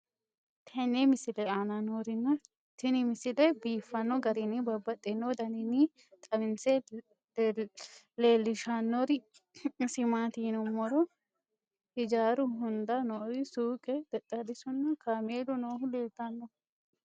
tenne misile aana noorina tini misile biiffanno garinni babaxxinno daniinni xawisse leelishanori isi maati yinummoro hijjaru hunda noori suuqqe, xexxerisu nna kaameelu noohu leelanno